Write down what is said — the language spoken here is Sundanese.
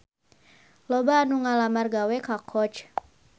Loba anu ngalamar gawe ka Coach